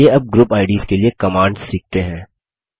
चलिए अब group IDs के लिए कमांड्स सीखते हैं